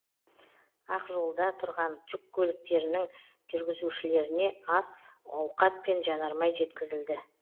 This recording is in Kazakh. ақ жолда тұрған жүк көліктерінің жүргізушілеріне ас ауқат пен жанармай жеткізілді